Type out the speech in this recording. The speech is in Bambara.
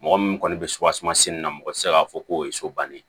Mɔgɔ min kɔni bɛ suwaseman sen na mɔgɔ tɛ se k'a fɔ k'o ye so bannen ye